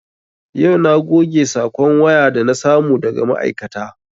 Yau na goge sakon waya da na samu daga ma'aikata